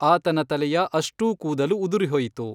ಆತನ ತಲೆಯ ಅಷ್ಟೂ ಕೂದಲು ಉದುರಿಹೋಯಿತು!